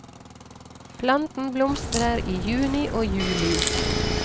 Planten blomstrer i juni og juli.